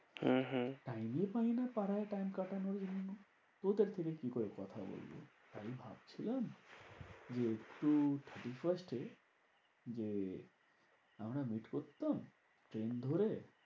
হম হম time ই পাইনা পাড়ায় time কাটানোর জন্য। কি করে কথা বলবো? আমি ভাবছিলাম যে, একটু thirty-first এ যে আমরা meet করতাম। ট্রেন ধরে